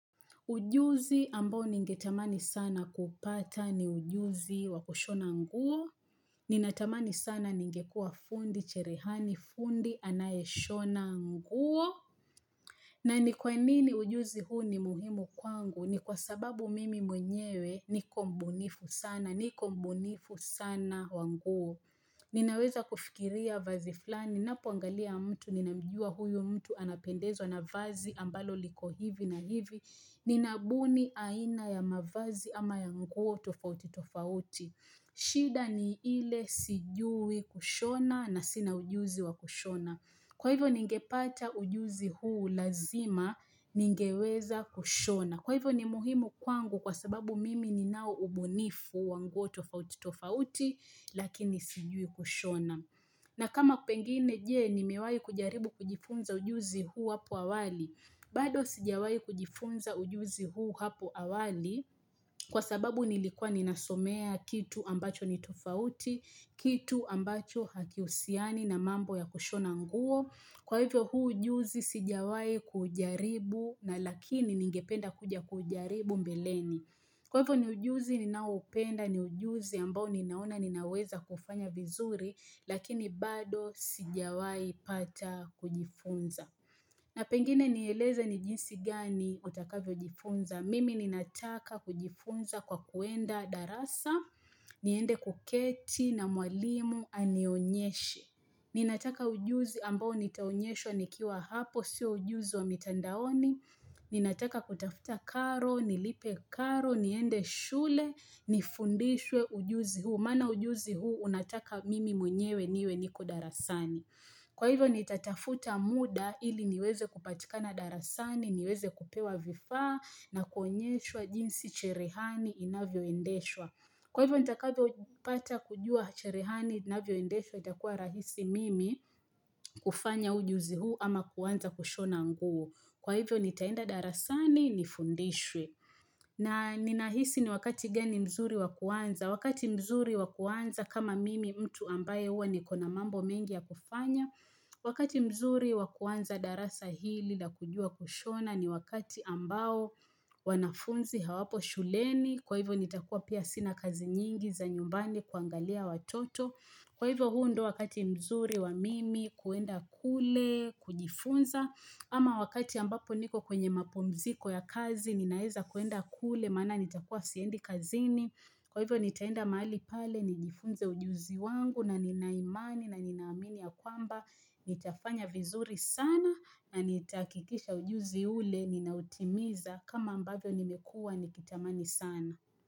Ujuzi ambao ningetamani sana kupata ni ujuzi wa kushona nguo, ninatamani sana ningekua fundi, cherehani fundi, anayeshona nguo. Na ni kwa nini ujuzi huu ni muhimu kwangu? Ni kwa sababu mimi mwenyewe niko mbunifu sana, niko mbunifu sana wa nguo. Ninaweza kufikiria vazi flani, ninapoangalia mtu, ninamjua huyu mtu anapendezwa na vazi ambalo liko hivi na hivi. Ninabuni aina ya mavazi ama ya nguo tofauti tofauti shida ni ile sijui kushona na sina ujuzi wa kushona Kwa hivyo ningepata ujuzi huu lazima ningeweza kushona Kwa hivyo ni muhimu kwangu kwa sababu mimi ninao ubunifu wa nguo tofauti tofauti Lakini sijui kushona na kama pengine je nimewai kujaribu kujifunza ujuzi huu apo awali bado sijawai kujifunza ujuzi huu hapo awali kwa sababu nilikuwa ninasomea kitu ambacho ni tofauti, kitu ambacho hakihusiani na mambo ya kushona nguo. Kwa hivyo huu ujuzi sijawai kujaribu na lakini ningependa kuja kujaribu mbeleni. Kwa hivyo ni ujuzi ninao upenda ni ujuzi ambao ninaona ninaweza kufanya vizuri lakini bado sijawai pata kujifunza. Na pengine nieleze ni jinsi gani utakavyojifunza, mimi ninataka kujifunza kwa kuenda darasa, niende kuketi na mwalimu anionyeshe, ninataka ujuzi ambao nitaonyeshwa nikiwa hapo, sio ujuzi wa mitandaoni, ninataka kutafuta karo, nilipe karo, niende shule, nifundishwe ujuzi huu, maana ujuzi huu, unataka mimi mwenyewe niwe niko darasani. Kwa hivyo nitatafuta muda ili niweze kupatikana darasani, niweze kupewa vifaa na kuonyeshwa jinsi cherehani inavyoendeshwa. Kwa hivyo nitakavyo pata kujua cherehani inavyoendeshwa itakuwa rahisi mimi kufanya ujuzi huu ama kuanza kushona nguo. Kwa hivyo nitaenda darasani nifundishwe. Na ninahisi ni wakati gani mzuri wa kuanza. Wakati mzuri wa kuanza kama mimi mtu ambaye hua niko na mambo mengi ya kufanya. Wakati mzuri wa kuanza darasa hili la kujua kushona ni wakati ambao wanafunzi hawapo shuleni. Kwa hivyo nitakua pia sina kazi nyingi za nyumbani kuangalia watoto. Kwa hivyo huu ndo wakati mzuri wa mimi kuenda kule, kujifunza. Ama wakati ambapo niko kwenye mapumziko ya kazi ninaeza kuenda kule maana nitakua siendi kazini. Kwa hivyo nitaenda mahali pale nijifunze ujuzi wangu na nina imani na nina amini ya kwamba nitafanya vizuri sana na nitahakikisha ujuzi ule ninautimiza kama ambavyo nimekua nikitamani sana.